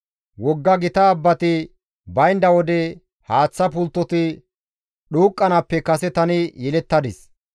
Wogga gita abbati baynda wode, haaththa pulttoti dhuuqqanaappe kase tani yelettadis.